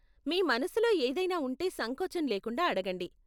మీ మనసులో ఏదైనా ఉంటే సంకోచం లేకుండా అడగండి.